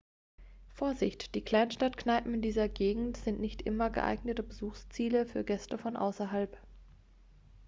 vorsicht die kleinstadtkneipen in dieser gegend sind nicht immer geeignete besuchsziele für gäste von außerhalb